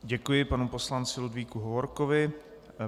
Děkuji panu poslanci Ludvíku Hovorkovi.